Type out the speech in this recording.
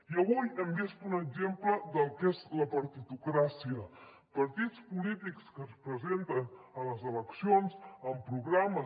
i avui hem vist un exemple del que és la partitocràcia partits polítics que es presenten a les eleccions amb programes